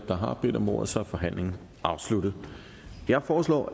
der har bedt om ordet så er forhandlingen afsluttet jeg foreslår